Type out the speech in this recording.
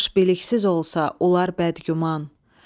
Baş biliksiz olsa olar bəd güman.